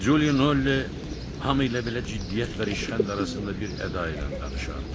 Julio Nolle hamı ilə belə ciddiyyət və rişxənd arasında bir əda ilə danışardı.